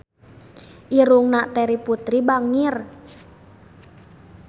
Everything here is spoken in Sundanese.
Irungna Terry Putri bangir